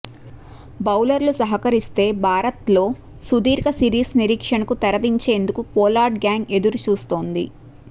బౌలర్లు సహకరిస్తే భారత్లో సుదీర్ఘ సిరీస్ నిరీక్షణకు తెరదించేందుకు పొలార్డ్ గ్యాంగ్ ఎదురుచూస్తోంది